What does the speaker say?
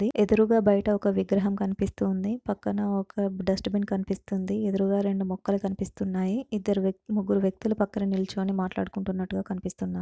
ఎదురుగ బయట ఒక విగ్రహం కనిపిస్తూఉంది .పక్కన ఒక దుస్తబిన్ కనిపిస్తుంది. ఎదురు రెండు మొక్కలు కనిపిస్తున్నాయి. ఇద్దరు వ్యక్తి ముగ్గురు వ్యక్తులు పక్కన నిల్చొని మాట్లాడుకుంటున్నట్టుగా కనిపిస్తుఉంది.